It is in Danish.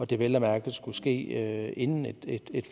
det vel at mærke skulle ske inden et